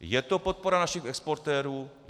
Je to podpora našich exportérů?